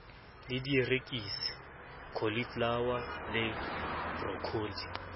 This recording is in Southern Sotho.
le dierekisi cauliflower le broccoli